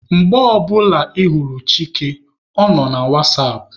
Mgbe ọ bụla ị hụrụ Chike, ọ nọ na wasapụ.